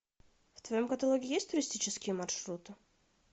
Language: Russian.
в твоем каталоге есть туристические маршруты